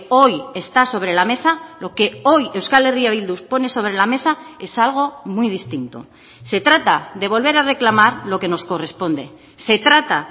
hoy está sobre la mesa lo que hoy euskal herria bildu pone sobre la mesa es algo muy distinto se trata de volver a reclamar lo que nos corresponde se trata